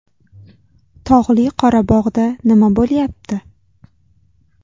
Tog‘li Qorabog‘da nima bo‘lyapti?